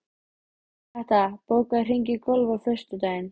Hrafnhetta, bókaðu hring í golf á föstudaginn.